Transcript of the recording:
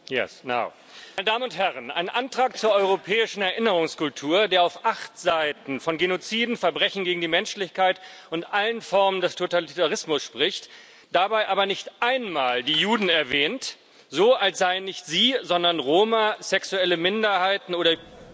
Herr Präsident, meine Damen und Herren! Einen Antrag zur europäischen Erinnerungskultur, der auf acht Seiten von Genoziden, Verbrechen gegen die Menschlichkeit und allen Formen des Totalitarismus spricht, dabei aber nicht einmal die Juden erwähnt, so als seien nicht sie, sondern Roma, sexuelle Minderheiten oder